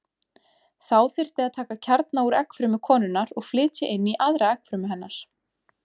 Þá þyrfti að taka kjarna úr eggfrumu konunnar og flytja inn í aðra eggfrumu hennar.